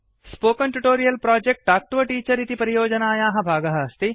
spoken tutorial project talk to a teacher इति परियोजनायाः भागः अस्ति